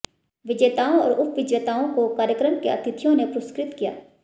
विजेताओं और उपविजेताओं को कार्यक्रम के अतिथियों ने पुरस्कृत किया